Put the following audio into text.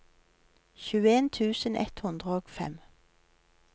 tjueen tusen ett hundre og fem